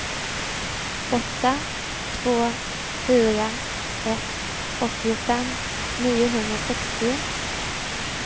åtta två fyra ett åttiofem niohundrasextio